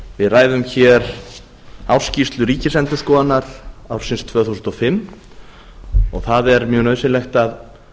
við ræðum hér ársskýrslu ríkisendurskoðunar ársins tvö þúsund og fimm og það er mjög nauðsynlegt að